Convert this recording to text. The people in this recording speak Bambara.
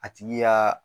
A tigi y'a